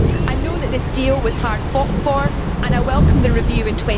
I know that this deal was hard fought for, and I welcome the review in